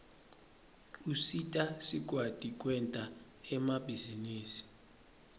usita sikwati kwenta emabhizinisi